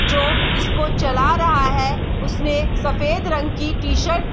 जो इसको चला रहा है उसने सफेद रंग की टी-शर्ट ।